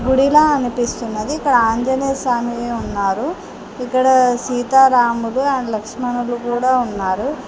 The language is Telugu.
గుడిలా అనిపిస్తున్నది ఇక్కడ ఆంజనేయ స్వామి ఉన్నారు ఇక్కడ సీతారాముడు అండ్ లక్ష్మణులు కూడా ఉన్నారు.